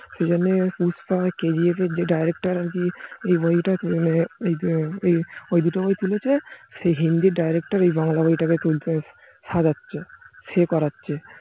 সে জন্যেই PUSPA, K. G. F. এর director আর কি ওই দুটো বই তুলেছে সেই হিন্দি director এই বাংলা বইটা তুলতে সাজাচ্ছে সে করেছে